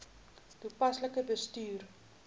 toepaslik bestuur